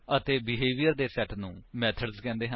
ਅਤੇ ਬਿਹੇਵਿਅਰ ਦੇ ਸੇਟ ਨੂੰ ਮੇਥਡਸ ਕਹਿੰਦੇ ਹਨ